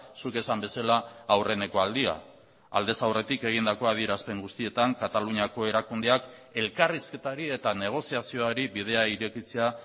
zuk esan bezala aurreneko aldia aldez aurretik egindako adierazpen guztietan kataluniako erakundeak elkarrizketari eta negoziazioari bidea irekitzea